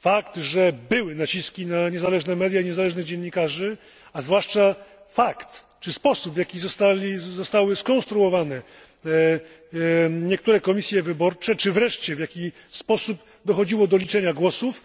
fakt, że były naciski na niezależne media i niezależnych dziennikarzy, a zwłaszcza sposób, w jaki zostały skonstruowane niektóre komisje wyborcze, czy wreszcie w jaki sposób dochodziło do liczenia głosów